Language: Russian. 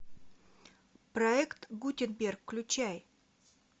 проект гутенберг включай